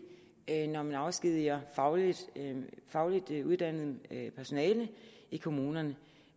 når man afskediger fagligt fagligt uddannet personale i kommunerne